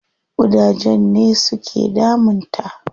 Ƙudajen ne su ke damun ta.